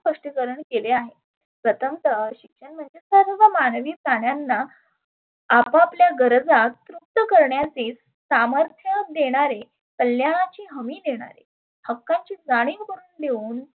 स्पष्टीकरण केले आहे. प्रथमतः शिक्षण म्हणजे सर्व मानवी प्राण्यांना आप आपल्या गरजा तृप्त करण्याचे सामर्थ्य देण्याचे कल्यानाची हमी देणारे हक्काची जानीव करुण देऊन